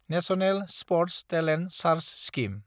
national sports talent search scheme